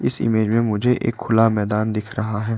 इस इमेज मे मुझे एक खुला मैदान दिख रहा है।